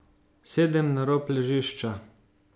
Sedem na rob ležišča.